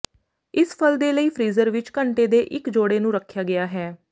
ਇਸ ਫਲ ਦੇ ਲਈ ਫ਼੍ਰੀਜ਼ਰ ਵਿੱਚ ਘੰਟੇ ਦੇ ਇੱਕ ਜੋੜੇ ਨੂੰ ਰੱਖਿਆ ਗਿਆ ਹੈ